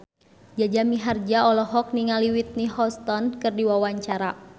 Jaja Mihardja olohok ningali Whitney Houston keur diwawancara